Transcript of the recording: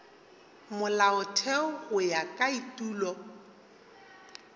molaotheo go ya ka etulo